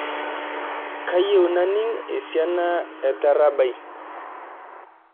kayieu naning' esiana etaarab ai